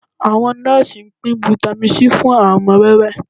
Àwọn nọ́ọ́sì ń pín Vitamin C fún àwọn ọmọ wẹ́wẹ́